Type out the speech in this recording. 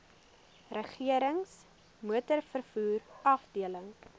regerings motorvervoer afdeling